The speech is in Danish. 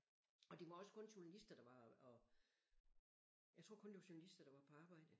Og det var også kun journalister der var og jeg tror kun det var journalister der var på arbejde